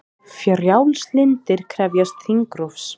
Frjálslyndir krefjast þingrofs